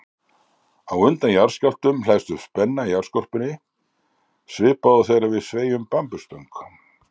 Á undan jarðskjálftum hleðst upp spenna í jarðskorpunni svipað og þegar við sveigjum bambusstöng.